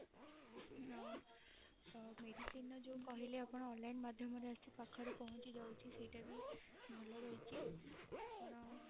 ଅ ଅ medicine ର ଯୋଉ କହିଲେ ଆପଣ online ମାଧ୍ୟମରେ ଆସି ପାଖରେ ପହଞ୍ଚି ଯାଉଛି ସେଇଟା ବି ଭଲ ରହିଛି ଆପଣ